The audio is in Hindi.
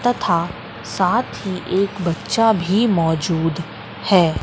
तथा साथ ही एक बच्चा भी मौजूद है।